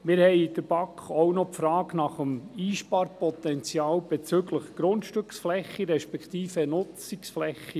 Wir stellten in der BaK auch noch die Frage nach dem Einsparungspotenzial bezüglich Grundstück-, respektive Nutzungsfläche.